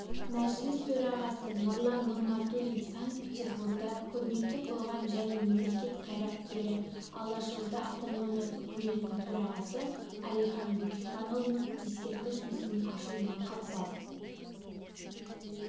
мәжіліс төрағасы нұрлан нығматулин санкт-петерборда көрнекті қоғам және мемлекет қайраткері алашорда автономиялы үкіметінің төрағасы әлихан бөкейханұлының ескерткіш мүсінінің ашылуына қатысады